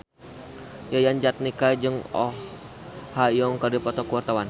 Yayan Jatnika jeung Oh Ha Young keur dipoto ku wartawan